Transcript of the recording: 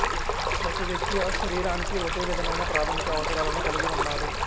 ప్రతి వ్యక్తి శరీరానికి ఒకే విధమైన ప్రాథమిక అవసరాలను కలిగి ఉన్నాడు